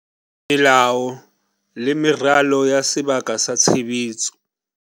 Melao le meralo ya sebaka sa tshebetso.